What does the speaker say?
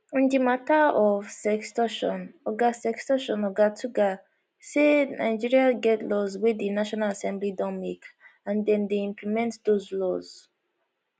on di mata of sextortion oga sextortion oga tuggar say nigeria get laws wey di national assembly don make and dem dey implement those laws